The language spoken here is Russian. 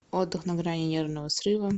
отдых на грани нервного срыва